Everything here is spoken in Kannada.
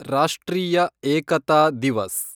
ರಾಷ್ಟ್ರೀಯ ಏಕತಾ ದಿವಸ್